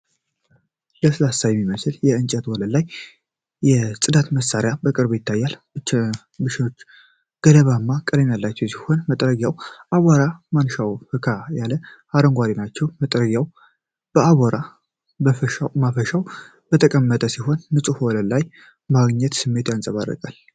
ለስላሳ በሚመስል የእንጨት ወለል ላይ የጽዳት መሳሪያዎች በቅርበት ይታያሉ። ብሩሾቹ ገለባማ ቀለም ያላቸው ሲሆኑ፣ መጥረጊያውና የአቧራ ማፈሻው ፈካ ያለ አረንጓዴ ናቸው። መጥረጊያው በአቧራ ማፈሻው ላይ የተቀመጠ ሲሆን ንጹህ ወለል የማግኘት ስሜትን ያንጸባርቃል።